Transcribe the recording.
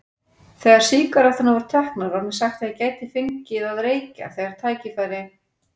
Þegar sígaretturnar voru teknar var mér sagt að ég gæti fengið að reykja þegar tækifæri